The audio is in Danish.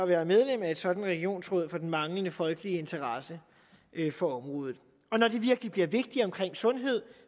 være medlem af et sådant regionsråd for den manglende folkelige interesse for området og når det virkelig bliver vigtigt omkring sundhed